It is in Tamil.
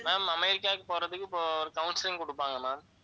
ma'am அமெரிக்காவுக்கு போறதுக்கு இப்போ ஒரு counselling கொடுப்பாங்க ma'am